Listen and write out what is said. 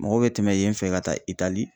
Mɔgɔw bɛ tɛmɛ yen fɛ ka taa Itali.